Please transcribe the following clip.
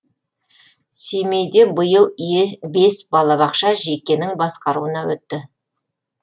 семейде биыл бес балабақша жекенің басқаруына өтті